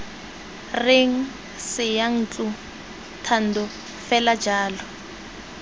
reng seyantlo thando fela jalo